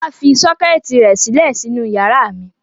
Fọlá fi sọ́kẹ́tì rẹ̀ sílẹ̀ sínú ìyàrá mi.